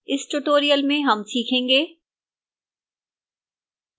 इस tutorial में हम सीखेंगे: